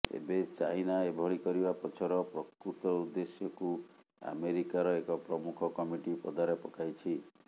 ଏବେ ଚାଇନା ଏଭଳି କରିବା ପଛର ପ୍ରକୃତ ଉଦ୍ଦେଶ୍ୟକୁ ଆମେରିକାର ଏକ ପ୍ରମୁଖ କମିଟି ପଦାରେ ପକାଇଛି